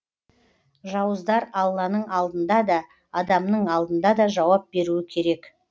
жауыздар алланың алдында да адамның алдында да жауап беруі керек